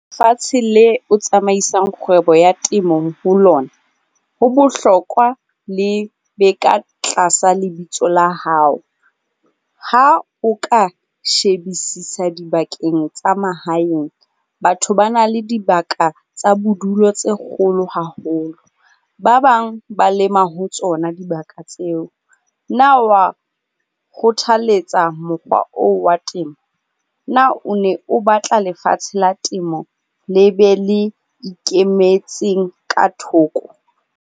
Fatshe le o tsamaisang kgwebo ya temong ho lona, ho bohlokwa le be ka tlasa lebitso la hao. Ha o ka shebisisa dibakeng tsa mahaeng, batho ba na le dibaka tsa bodulo tse kgolo haholo, ba bang ba lema ho tsona dibaka tseo. Na wa kgothaletsa mokgwa oo wa temo? Na o ne o batla lefatshe la temo le be le ikemetseng ka thoko?